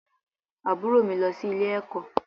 Àbúrò mi lọ sí ilé-ẹ̀kọ́